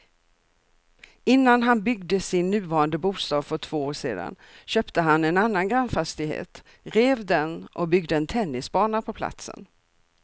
Innan han byggde sin nuvarande bostad för två år sedan köpte han en annan grannfastighet, rev den och byggde en tennisbana på platsen.